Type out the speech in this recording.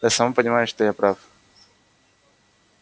ты сама понимаешь что я прав